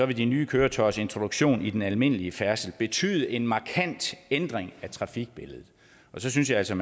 de nye køretøjers introduktion i den almindelige færdsel vil betyde en markant ændring af trafikbilledet og så synes jeg altså